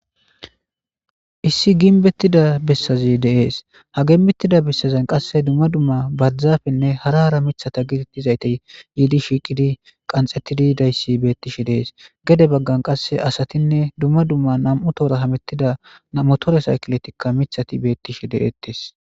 issi gimbettida bessazi deees ha gembettida bessazen qasse duma duma barzafenne hara hara michata gidittizaytey yiidi shiiqidi qanxettidi dayssi bettishe dees gede baggan qasse asatinne duma duma nam7u toora hamettida motore saykiletikka mithati beettishe de7wettest.